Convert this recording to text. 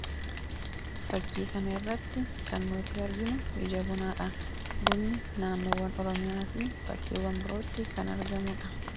Fakkii kana irratti kan nuti arginu ija bunaadha. Bunni naannoowwan Oromiyaa fi bakkeewwan birootti kan argamuudha.